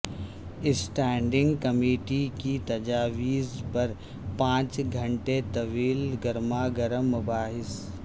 standing committee کی تجاویز پر پانچ گھنٹے طویل گرماگرم مباحث